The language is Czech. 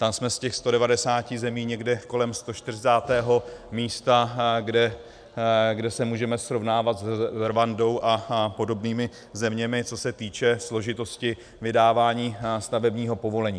Tam jsme z těch 190 zemí někde kolem 140. místa, kde se můžeme srovnávat s Rwandou a podobnými zeměmi, co se týče složitosti vydávání stavebního povolení.